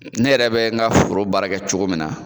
Ne yɛrɛ bɛ n ka foro baara kɛ cogo min na